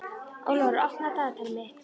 Ólafur, opnaðu dagatalið mitt.